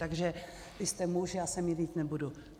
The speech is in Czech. Takže vy jste muž, já se mírnit nebudu.